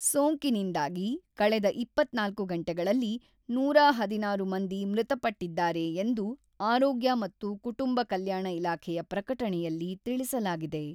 ಸೋಂಕಿನಿಂದಾಗಿ ಕಳೆದ ಇಪ್ಪತ್ತ್ನಾಲ್ಕು ಗಂಟೆಗಳಲ್ಲಿ ನೂರಹದಿನಾರು ಮಂದಿ ಮೃತಪಟ್ಟಿದ್ದಾರೆ ಎಂದು ಆರೋಗ್ಯ ಮತ್ತು ಕುಟುಂಬ ಕಲ್ಯಾಣ ಇಲಾಖೆಯ ಪ್ರಕಟಣೆಯಲ್ಲಿ ತಿಳಿಸಲಾಗಿದೆ.